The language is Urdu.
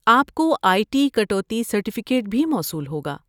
آپ کو آئی ٹی کٹوتی سرٹیفیکیٹ بھی موصول ہوگا۔